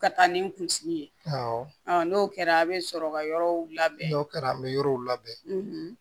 Ka taa ni kunsigi ye awɔ n'o kɛra a bɛ sɔrɔ ka yɔrɔw labɛn n'o kɛra an bɛ yɔrɔw labɛn